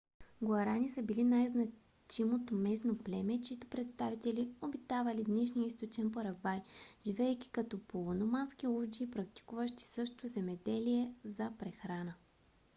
гуарани са били най-значимото местно племе чийто представители обитавали днешния източен парагвай живеейки като полуномадски ловджии практикуващи също земеделие за прехрана